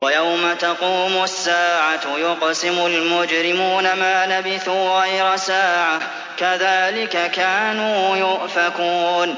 وَيَوْمَ تَقُومُ السَّاعَةُ يُقْسِمُ الْمُجْرِمُونَ مَا لَبِثُوا غَيْرَ سَاعَةٍ ۚ كَذَٰلِكَ كَانُوا يُؤْفَكُونَ